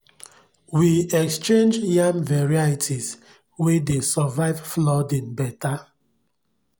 we exchange yam varieties wey dey survive flooding better